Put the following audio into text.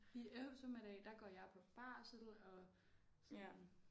I eftermiddag der går jeg på barsel og sådan